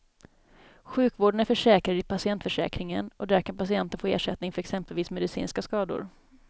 Sjukvården är försäkrad i patientförsäkringen och där kan patienten få ersättning för exempelvis medicinska skador.